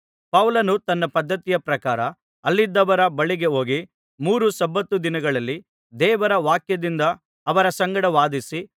ಪೌಲನು ತನ್ನ ಪದ್ಧತಿಯ ಪ್ರಕಾರ ಅಲ್ಲಿದ್ದವರ ಬಳಿಗೆ ಹೋಗಿ ಮೂರು ಸಬ್ಬತ್ ದಿನಗಳಲ್ಲಿ ದೇವರ ವಾಕ್ಯದಿಂದ ಅವರ ಸಂಗಡ ವಾದಿಸಿ